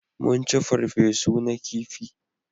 Mun ci farfe su na kifi